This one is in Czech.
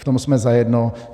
V tom jsme zajedno.